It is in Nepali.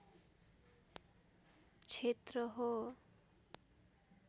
क्षेत्र हो